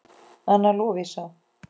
Anna Lovísa.